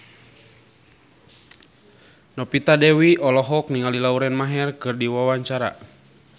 Novita Dewi olohok ningali Lauren Maher keur diwawancara